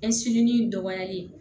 dɔgɔyali